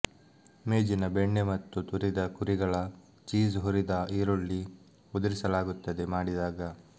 ಮೇಜಿನ ಬೆಣ್ಣೆ ಮತ್ತು ತುರಿದ ಕುರಿಗಳ ಚೀಸ್ ಹುರಿದ ಈರುಳ್ಳಿ ಉದುರಿಸಲಾಗುತ್ತದೆ ಮಾಡಿದಾಗ